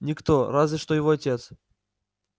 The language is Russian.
никто разве что его отец